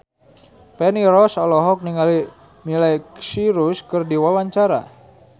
Feni Rose olohok ningali Miley Cyrus keur diwawancara